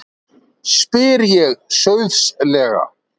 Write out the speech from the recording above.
spyr ég sauðsleg.